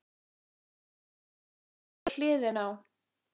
Um hann sem lá við hliðina á